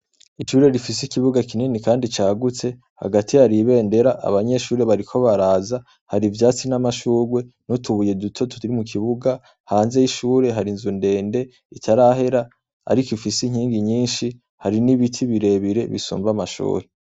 Ishure rifise ikibuga kinini Kandi cagutse hagati hari ibendera abanyeshure bariko baraza , hari ivyatsi n'amashurwe n'utubuye duto turi mu kibuga, hanze y' ishure hari inzu ndende itarahera ariko ifise inkingi nyinshi hari n'ibiti birebire bisumba amashure.